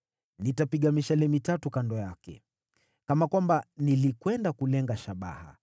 Nitapiga mishale mitatu kando yake, kama kwamba nilikwenda kulenga shabaha.